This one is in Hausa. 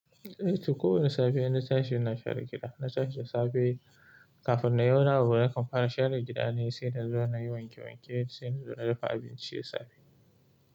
Eh to ko wane safiya na tashi ina share gida. Na tashi da safe kafin nayi wani abu nakan fara share gida ne sai nazo nayi wanke-wanke sai nazo na dafa abinci da safe.